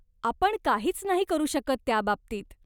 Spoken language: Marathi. आपण काहीच नाही करू शकत त्याबाबतीत.